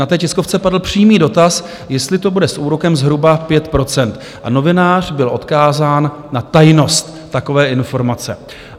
Na té tiskovce padl přímý dotaz, jestli to bude s úrokem zhruba 5 %, a novinář byl odkázán na tajnost takové informace.